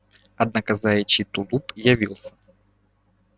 однако заячий тулуп явился